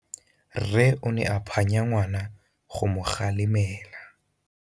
Rre o ne a phanya ngwana go mo galemela.